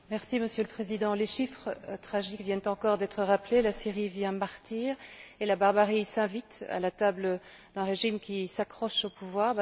Monsieur le Président, les chiffres tragiques viennent encore d'être rappelés, la Syrie vit un martyr et la barbarie s'invite à la table d'un régime qui s'accroche au pouvoir.